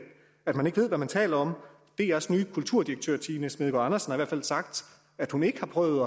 ved hvad man taler om drs nye kulturdirektør tine smedegaard andersen har i hvert fald sagt at hun ikke har prøvet